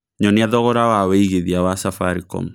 nyonĩa thogora wa wĩĩgĩthĩa wa safaricom